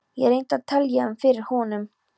Ég reyndi að telja um fyrir honum.